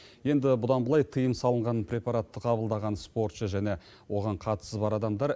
енді бұдан былай тыйым салынған препаратты қабылдаған спортшы және оған қатысы бар адамдар